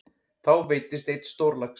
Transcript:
Þá veiddist einn stórlax.